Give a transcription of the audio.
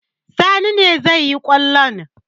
Sani ne zai yi kwallon.